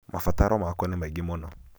mabataro makwa nĩ maingĩ mũno